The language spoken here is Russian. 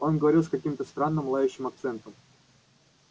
он говорил с каким-то странным лающим акцентом